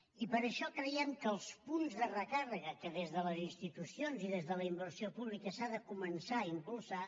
i per això creiem que els punts de recàrrega que des de les institucions i des de la inversió pública s’han de començar a impulsar